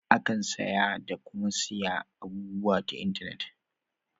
Akan saya da kuma siya abubuwa ta intenet.